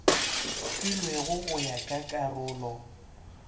filwego go ya ka karolo